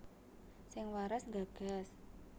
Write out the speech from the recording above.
Sing waras nggagas